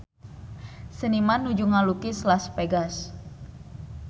Seniman nuju ngalukis Las Vegas